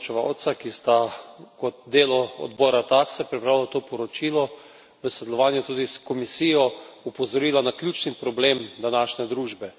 Poročevalca, ki sta kot delo odbora TAXE pripravila to poročilo v sodelovanju tudi s Komisijo, opozorila na ključni problem današnje družbe.